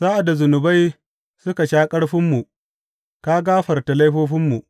Sa’ad da zunubai suka sha ƙarfinmu, ka gafarta laifofinmu.